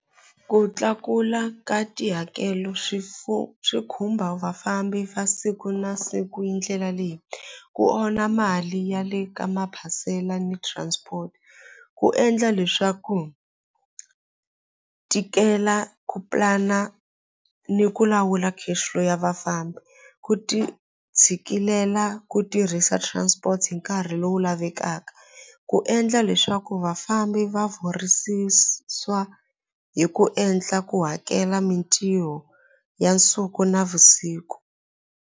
Ku tlakula ka tihakelo swi swi khumba vafambi va siku na siku hi ndlela leyi ku onha mali ya le ka maphasela ni transport ku endla leswaku tikela ku pulana ni ku lawula cash flow ya vafambi ku ti tshikilela ku tirhisa transport hi nkarhi lowu lavekaka ku endla leswaku vafambi va hi ku endla ku hakela mintiho ya nsuku navusiku.